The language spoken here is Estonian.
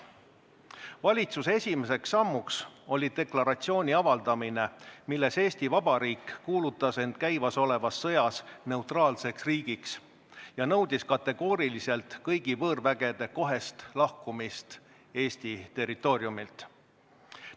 Valitsuse esimene samm oli deklaratsiooni avaldamine, milles Eesti Vabariik kuulutas end käimasolevas sõjas neutraalseks riigiks ja nõudis kategooriliselt kõigi võõrvägede kohest lahkumist Eesti territooriumilt.